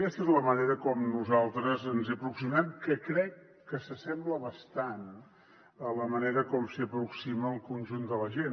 aquesta és la manera com nosaltres ens hi aproximem que crec que s’assembla bastant a la manera com s’hi aproxima el conjunt de la gent